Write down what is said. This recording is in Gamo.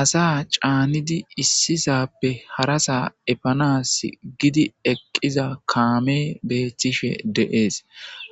asa caanidi issisappe harasa epanas gidi eqqiza kaame beettishe deees